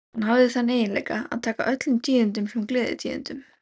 Hann hafði þann eiginleika að taka öllum tíðindum sem gleðitíðindum.